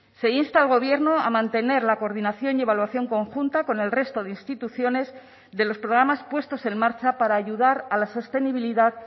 se insta al gobierno a mantener la coordinación y evaluación conjunta con el resto de instituciones de los programas puestos en marcha para ayudar a la sostenibilidad